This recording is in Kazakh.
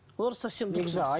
ол совсем дұрыс емес